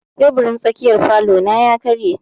Teburin tsakiyar falo na ya karye.